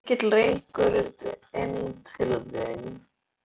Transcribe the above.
Haukur: Var mikill reykur inn til þín?